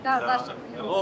Yəni ki, doğulub?